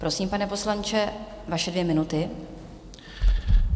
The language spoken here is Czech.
Prosím, pane poslanče, vaše dvě minuty.